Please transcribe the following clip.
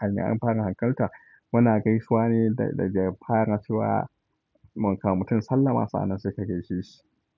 hanyar an fara hankalta muna gaisuwa ne da dare fara kuwa mu kam mutum sallama sanan sai ka gasheshi.